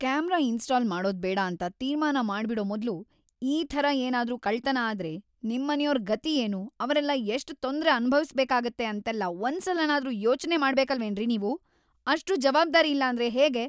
Camera install ಮಾಡೋದ್ಬೇಡ ಅಂತ ತೀರ್ಮಾನ ಮಾಡ್ಬಿಡೋ ಮೊದ್ಲು ಈ ಥರ ಏನಾದ್ರೂ ಕಳ್ತನ ಆದ್ರೆ ನಿಮ್ಮನೆಯೋರ್‌ ಗತಿ ಏನು, ಅವ್ರೆಲ್ಲ ಎಷ್ಟ್‌ ತೊಂದ್ರೆ ಅನುಭವಿಸ್ಬೇಕಾಗತ್ತೆ ಅಂತೆಲ್ಲ ಒಂದ್ಸಲನಾದ್ರೂ ಯೋಚ್ನೆ ಮಾಡ್ಬೇಕಲ್ವೇನ್ರಿ ನೀವು, ಅಷ್ಟೂ ಜವಾಬ್ದಾರಿ ಇಲ್ಲಾಂದ್ರೆ ಹೇಗೆ?!